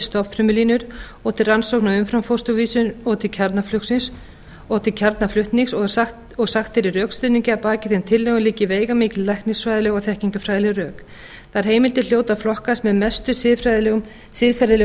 stofnfrumulínur og til rannsókna á umframfósturvísum og til kjarnaflutnings og sagt er í rökstuðningi að að baki þeim tillögum liggi veigamikil læknisfræðileg og þekkingarfræðileg rök þær heimildir hljóta að flokkast með mestu mestu siðferðilegu